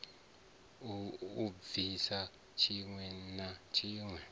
a bvise tshiwe na tshiwe